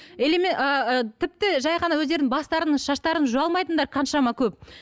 ыыы тіпті жай ғана өздерін бастарын шаштарын жуа алмайтындар қаншама көп